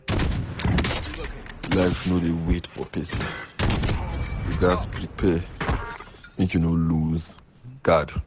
Life no dey wait for pesin, you ghas prepare make you no loose guard